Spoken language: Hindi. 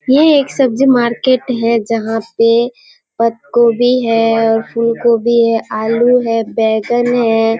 ये एक सब्जी मार्केट है जहाँ पे पतगोभी है और फूलगोभी है आलू है बैंगन है ।